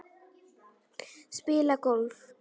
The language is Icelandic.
Spila golf?